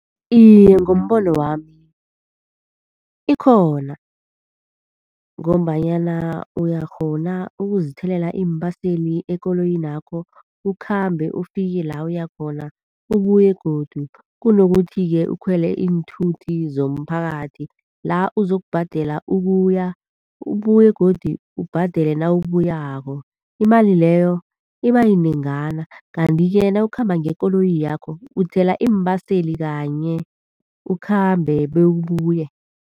Iye, ngombono wami ikhona. Ngombanyana uyakghona ukuzithelela iimbaseli ekoloyinakho ukhambe, ufike la uyakhona, ubuye godu. Kunokuthi-ke ukhwele iinthuthi zomphakathi la uzokubhadela ukuya, ubuye godu ubhadele nawubuyako. Imali leyo ibayinengana, kanti-ke nawukhamba ngekoloyi yakho uthela iimbaseli kanye, ukhambe bewubuye.